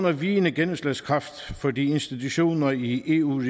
i vigende gennemslagskraft fordi institutioner i eu